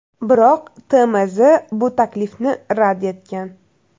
Biroq TMZ bu taklifni rad etgan.